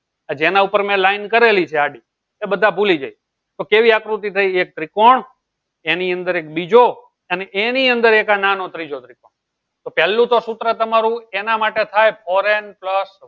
આ જેના ઉપર હું line કરેલી છે તે બધા ભૂલી જઈ ત્યો કેવી આકૃતિ થઇ એક ત્રિકોણ એની અંદર એક બીજો અને એની અંદર એક આ નાનો ત્રીજો ત્રિકોણ તો પેહલું તો સુત્ર તમારું એના માટે થાય ફોરેન પ્લસ